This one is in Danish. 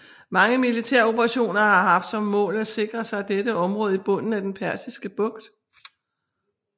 Mange militære operationer har haft som mål at sikre sig dette område i bunden af den Persiske Bugt